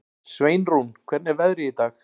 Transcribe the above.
Sveinrún, hvernig er veðrið í dag?